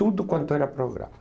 Tudo quanto era programa.